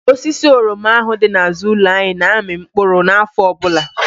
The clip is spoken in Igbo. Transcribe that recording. Osisi oroma ahụ dị n'àzụ́ụlọ anyị na-amị mkpụrụ n'áfọ ọbụla.